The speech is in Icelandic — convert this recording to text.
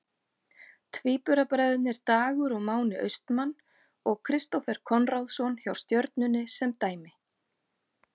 Tvíburabræðurnir Dagur og Máni Austmann og Kristófer Konráðsson hjá Stjörnunni sem dæmi.